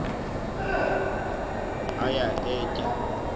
aya ee tyaa